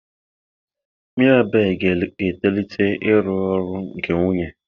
Mirabel ga-etolite ịrụ ọrụ nke nwunye.